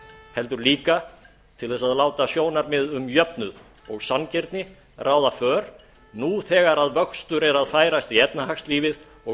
heldur líka til þess að láta sjónarmið um jöfnuð og sanngirni ráða för nú þegar vöxtur er að færast í efnahagslífið og